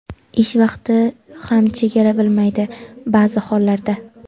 Ish vaqti ham chegara bilmaydi baʼzi hollarda.